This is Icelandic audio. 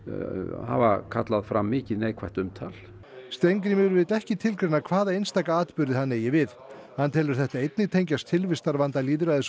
hafa kallað fram mikið neikvætt umtal Steingrímur vill ekki tilgreina hvaða einstaka atburði hann eigi við hann telur þetta einnig tengjast tilvistarvanda lýðræðis og